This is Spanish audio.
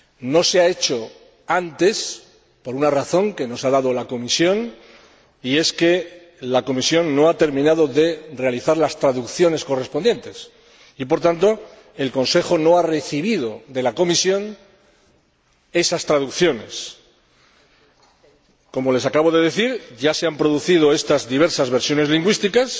No se ha hecho antes por la siguiente razón que nos ha dado la Comisión la Comisión no ha terminado las traducciones correspondientes y, por tanto, el Consejo no ha recibido de la Comisión esas traducciones. Como les acabo de decir, ya se están ultimando estas diversas versiones lingüísticas